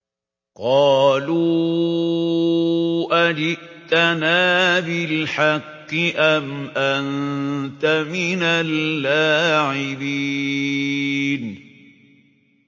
قَالُوا أَجِئْتَنَا بِالْحَقِّ أَمْ أَنتَ مِنَ اللَّاعِبِينَ